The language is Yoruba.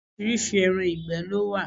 Oríṣiríṣi ẹran ìgbẹ́ ló wà.